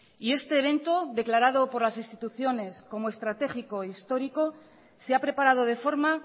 y este evento declarado por las instituciones como estratégico e histórico se ha preparado de forma